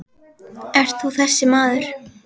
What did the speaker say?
Ert þú þessi maður?